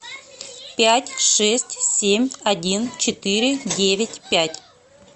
пять шесть семь один четыре девять пять